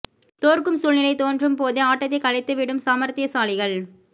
தோற்கும் சூழ்நிலை தோன்றும் போதே ஆட்டத்தை கலைத்து விடும் சமார்த்தியசாலிகள்